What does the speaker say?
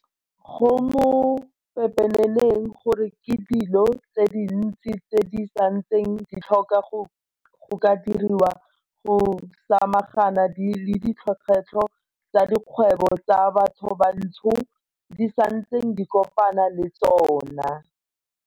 Go mo pepeneneng gore ke dilo tse dintsi tse di santseng di tlhoka go ka diriwa go samagana le dikgwetlho tse dikgwebo tsa bathobantsho di santseng di kopana le tsona.